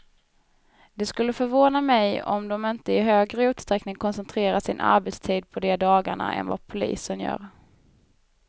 Det skulle förvåna mig om de inte i högre utsträckning koncentrerar sin arbetstid på de dagarna än vad polisen gör.